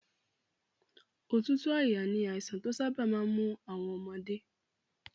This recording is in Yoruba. Òtútù àyà ni àìsàn tí ó sábà máa ń mú àwọn ọmọdé